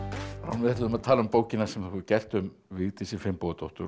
við ætluðum að tala um bókina sem þú hefur gert um Vigdísi Finnbogadóttur